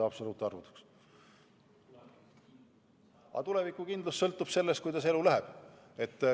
Aga tulevikukindlus sõltub sellest, kuidas elu läheb.